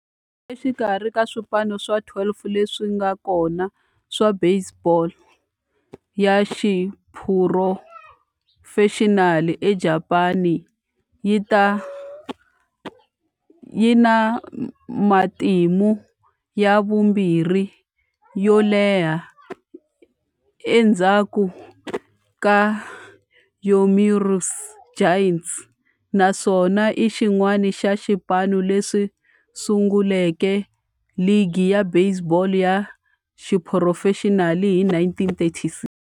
Exikarhi ka swipano swa 12 leswi nga kona swa baseball ya xiphurofexinali eJapani, yi na matimu ya vumbirhi yo leha endzhaku ka Yomiuri Giants, naswona i xin'wana xa swipano leswi sunguleke ligi ya baseball ya xiphurofexinali hi 1936.